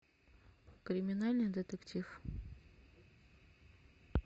криминальный детектив